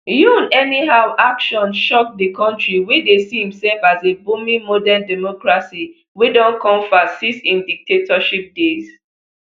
yoon anyhow action shock di country wey dey see imself as a booming modern democracy wey don come far since im dictatorship days